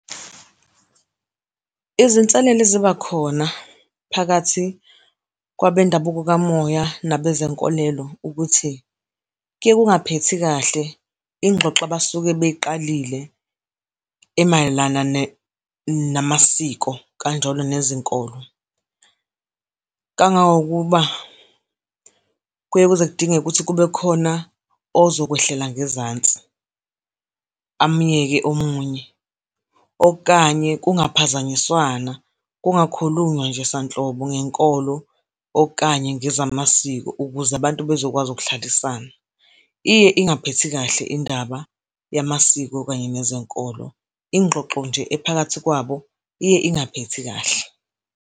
Izinselelo eziba khona phakathi kwabendabuko kamoya nabezenkolelo ukuthi kuye kungaphethi kahle ingxoxo abasuke beyiqalile emayelana namasiko, kanjalo nezinkolo. Kangangokuba kuye kuze kudingeke ukuthi kube khona ozokwehlela ngezansi, amyeke omunye okanye kungaphazanyiswana kungakhulunywa nje sanhlobo ngenkolo okanye ngezamasiko, ukuze abantu bezokwazi ukuhlalisana. Iye ingaphethi kahle indaba yamasiko kanye nezenkolo, ingxoxo nje ephakathi kwabo iye ingaphethi kahle.